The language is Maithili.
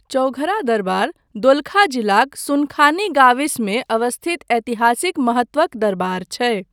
चौघरा दरबार दोलखा जिलाक सुनखानी गाविसमे अवस्थित ऐतिहासिक महत्वक दरबार छै।